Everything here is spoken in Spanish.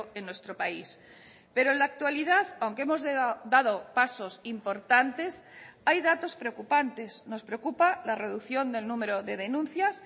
en nuestro país pero en la actualidad aunque hemos dado pasos importantes hay datos preocupantes nos preocupa la reducción del número de denuncias